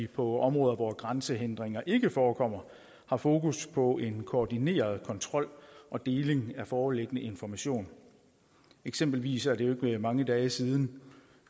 på områder hvor grænsehindringer ikke forekommer har fokus på en koordineret kontrol og deling af foreliggende information eksempelvis er det jo ikke mange dage siden